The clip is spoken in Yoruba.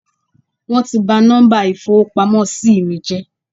Wón ti ba nọ́mbà ìfowópamósí mí jẹ́